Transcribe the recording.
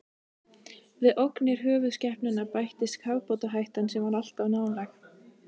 Við ógnir höfuðskepnanna bættist kafbátahættan, sem var alltaf nálæg.